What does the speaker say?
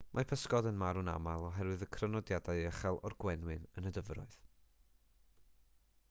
mae pysgod yn marw'n aml oherwydd y crynodiadau uchel o'r gwenwyn yn y dyfroedd